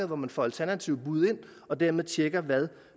hvor man får alternative bud ind og dermed tjekker hvad